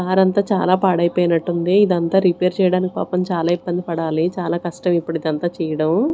Car అంత చాలా పాడైపోయినట్టు ఉంది ఇది అంతా రేపేర్ చేయడానికి పాపం చాలా ఇబ్బంది పడాలి చాలా కష్టం ఇప్పుడు ఇదంతా చేయడం.